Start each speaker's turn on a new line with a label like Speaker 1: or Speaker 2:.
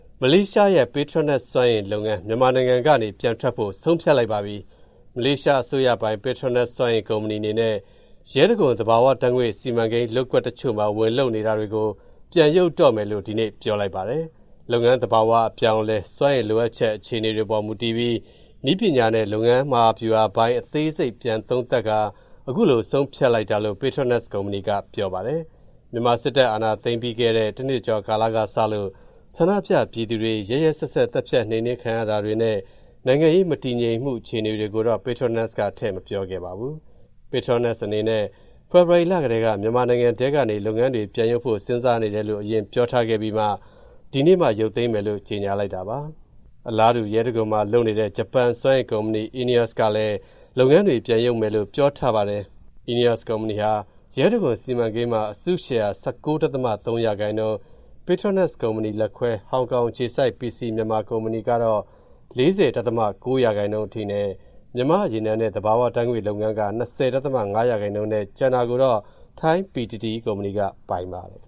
Speaker 1: မလေးရှားရဲ့ Petronas စွမ်းအင်လုပ်ငန်း မြန်မာနိုင်ငံကနေ ပြန်ထွက်ဖို့ ဆုံးဖြတ်လိုက်ပါပြီ။ မလေးအစိုးရပိုင် Petronas စွမ်းအင်ကုမ္ပဏီအနေနဲ့ ရဲတံခွန် သဘာဝဓာတ်ငွေ့စီမံကိန်းလုပ်ကွက်တချို့မှာ ဝင်လုပ်နေတာတွေကို ပြန်ရုပ်တော့မယ်လို့ ဒီနေ့ ပြောလိုက်ပါတယ်။ လုပ်ငန်းသဘာဝအပြောင်းအလဲ၊ စွမ်းအင်လိုအပ်ချက် အခြေအနေတွေပေါ်မူတည်ပြီး နည်းပညာနဲ့ လုပ်ငန်း မဟာဗျူဟာပိုင်း အသေးစိတ်ပြန်သုံးသပ်ပြီး အခုလို ဆုံးဖြတ်လိုက်တာလို့ Petronas ကုမ္ပဏီက ပြောပါတယ်။ မြန်မာစစ်တပ်အာဏာသိမ်းခဲ့တဲ့ ပြီးခဲ့တဲ့ တနှစ်ကျော်ကစလို့ ဆန္ဒပြ ပြည်သူတွေ ရက်ရက်စက်စက် သတ်ဖြတ် နှိမ်နင်းခံရတာတွေနဲ့ နိုင်ငံရေးမတည်ငြိမ်တဲ့အခြေအနေတွေကိုတော့ Patronas က ထည့်မပြောခဲ့ပါဘူး။ Petronas အနေနဲ့ ဖေဖော်ဝါရီလကတည်းက မြန်မာနိုင်ငံတွင်းက လုပ်ငန်းတွေ ပြန်ရုပ်ဖို့ စဉ်းစားနေတယ်လို့ အရင်ပြောထားခဲ့ပြီး ဒီနေ့မှ ရုပ်သိမ်းမယ်လို့ ကြေညာလိုက်တာပါ။ အလားတူ ရဲတံခွန်မှာလုပ်နေတဲ့ ဂျပန်စွမ်းအင်ကုမ္ပဏီ Eneos ကလည်း လုပ်ငန်းတွေ ပြန်ရုပ်မယ်လို့ ပြောထားပါတယ်။ Eneos ကုမ္ပဏီဟာ ရဲတံခွန်စီမံကိန်းမှာ အစုရှယ်ယာ ၁၉.၃%၊ Petronas ကုမ္ပဏီလက်ခွဲ ဟောင်ကောင်အခြေစိုက် PC Myanmar ကုမ္ပဏီက ၄၀.၉% ၊ မြန်မာ့ရေနံနဲ့ ဘဘာဝဓာတ်ငွေ့လုပ်ငန်းက ၂၀.၅% နဲ့ ကျန်တာကိုတော့ ထိုင်း PTTEP ကုမ္ပဏီက ပိုင်ပါတယ်။